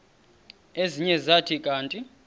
ezinye zathi kanti